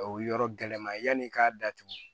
O yɔrɔ gɛlɛma yanni i k'a datugu